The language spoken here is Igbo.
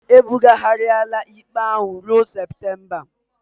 E bughariala ikpe ahụ ruo Septemba